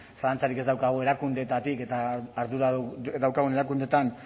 zalantzarik ez daukagu erakundeetatik eta ardura daukagun erakundeetan